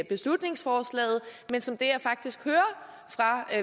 beslutningsforslaget men som er faktisk hører fra